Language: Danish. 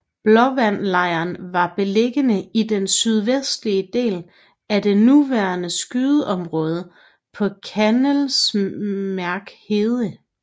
Blåvandlejren var beliggende i den sydvestlige del af det nuværende skydeområde på Kallesmærsk Hede